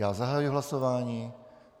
Já zahajuji hlasování.